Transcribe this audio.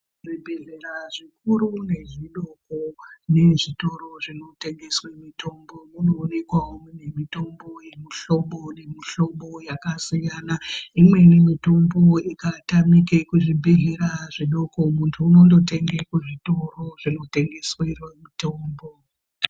Zvibhedhlera zvikuru nezvidoko nezvitoro zvinotengeswe mitombo munoonekawo mune mitomba yemimhlobo nemihlobo yakasiyana imweni mitombo ikatamika kuzvibhedhlera zvidoko munthu unondotenge kuzvitoro vinotengeserwa mitombo.